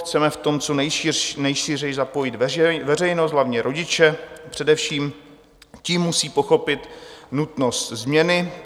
Chceme v tom co nejšířeji zapojit veřejnost, hlavně rodiče, především ti musí pochopit nutnost změny.